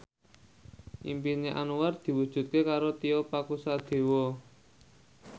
impine Anwar diwujudke karo Tio Pakusadewo